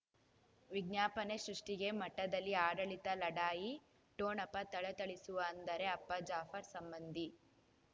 ವಿಜ್ಞಾಪನೆ ಸೃಷ್ಟಿಗೆ ಮಠದಲ್ಲಿ ಆಡಳಿತ ಲಢಾಯಿ ಠೊಣಪ ಥಳಥಳಿಸುವ ಅಂದರೆ ಅಪ್ಪ ಜಾಫರ್ ಸಂಬಂಧಿ